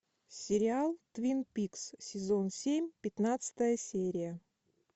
сериал твин пикс сезон семь пятнадцатая серия